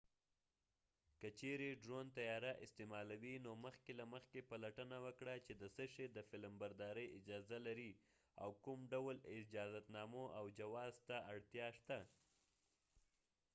که چیرې ډرون طیاره استعمالوې نو مخکې له مخکې پلټنه وکړه چې د څه شي د فلمبردارۍ اجازه لرې او کوم ډول اجازتنامو او جواز ته اړتیا شته